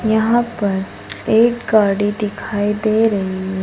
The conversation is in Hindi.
यहां पर एक गाड़ी दिखाई दे रही है।